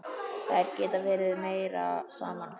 Þær geta verið meira saman.